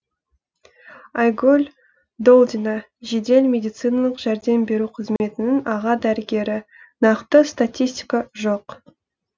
айгүл долдина жедел медициналық жәрдем беру қызметінің аға дәрігері нақты статистика жоқ